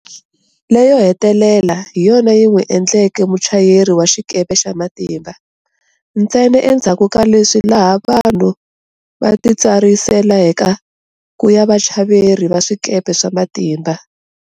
Leyo hetelela hi yona yi n'wi e ndleke muchayeri wa xikepe xa matimba. Ntsena endzhaku ka leswi laha vanhu va titsariselaka ku ya vachaveri va swikepe swa matimba.